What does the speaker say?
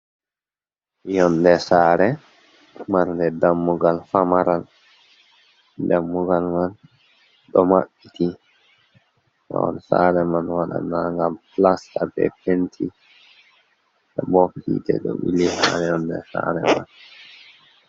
Yonɗe sare marnɗe ɗammugal famaral. Ɗammugal man ɗo mabbit. Mahol sare man waɗana gal pilasta be penti. bobb hiite ɗo bili ha yonɗe sare man